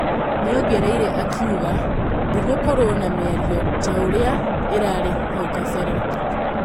Nĩongereire akauga 'ndĩgũkorwo na mĩario taũrĩa ĩrarĩ haukabere '